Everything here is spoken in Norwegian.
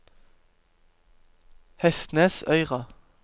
Hestnesøyra